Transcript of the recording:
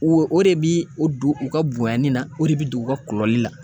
O o de bi o don u ka bonyani na, o de be don u ka kulɔli la.